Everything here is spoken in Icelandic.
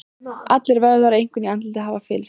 Allir vöðvar, einkum í andliti, hafa fyllst.